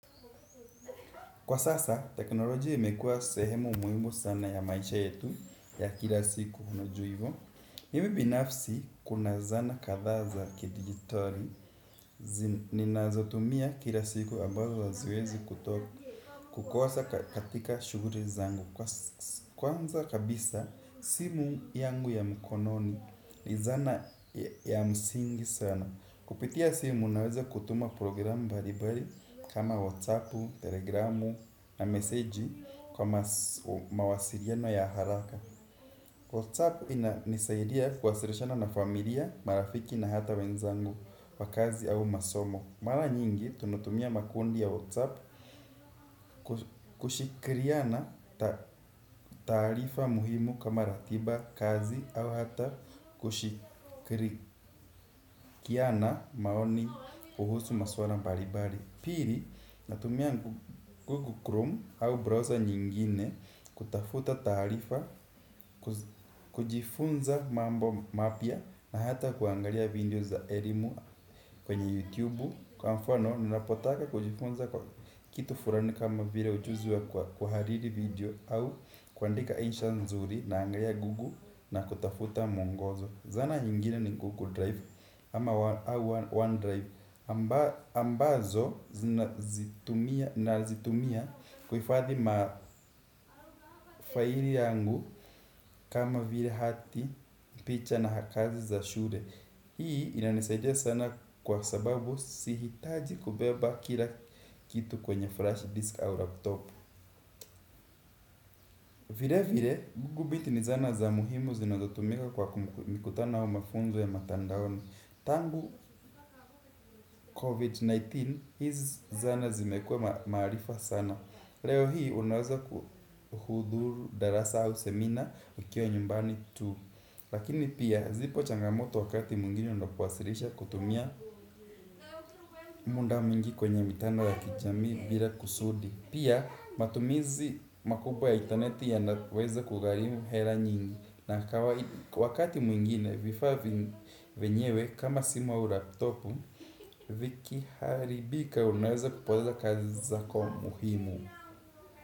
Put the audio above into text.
Kwa sasa teknolojia imekua sehemu muimu sana ya maisha yetu ya kila siku hinojuivo Mimi binafsi kuna zana katha za kidigitari. Ninazotumia kila siku ambazo haziwezi kutoka kukosa katika shuguri zangu. Kwanza kabisa simu yangu ya mkononi li zana ya msingi sana. Kupitia simu unaweza kutuma programu mbaribari kama WhatsApp, telegramu na meseji kwa mawasiriano ya haraka. WhatsApp inanisaidia kwasirishana na familia, marafiki na hata wenzangu, wakazi au masomo. Mara nyingi tunatumia makundi ya WhatsApp kushikiriana tarifa muhimu kama ratiba kazi au hata kushikiriana maoni kuhusu maswala mbaribari. Piri natumia Google Chrome au browser nyingine kutafuta tarifa, kujifunza mambo mapia na hata kuangalia video za erimu kwenye YouTube. Kwa mfano, ninapotaka kujifunza kwa kitu furani kama vile ujuzi wa kwahariri video au kuandika insha nzuri naangalia gugu na kutafuta muongozo. Zana nyigine ni gugu drive ama one drive ambazo nazitumia kuhifadhi mafaili yangu kama vile hati picha na kazi za shule. Hii inanisaidia sana kwa sababu sihitaji kubeba kila kitu kwenye flash disk au laptop. Vile vile gugubiti ni zana za muhimu zinatotumika kwa mikutana au mafunzo ya mtandaoni. Tangu COVID-19, hizi zana zimekuwa maarufa sana. Leo hii unaweza kuhuduru darasa au semina ukiwa nyumbani tu. Lakini pia zipo changamoto wakati mwngini unapowasilisha kutumia muda mwingi kwenye mtanda la kijamii bila kusudi. Pia matumizi makubwa ya intaneti yanaweza kugarimu hela nyingi na kwa wakati mwingine vifaa vyenyewe kama simu au laptopu viki haribika unaweza kupoteza kazi zako muhimu.